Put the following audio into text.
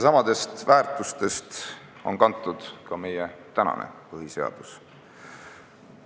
Samadest väärtustest on kantud ka meie tänane põhiseadus.